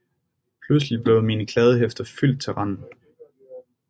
Pludselig blev mine kladdehæfter fyldt til randen